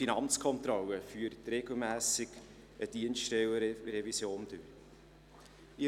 Auch die FK führt regelmässig eine Dienststellenrevision durch.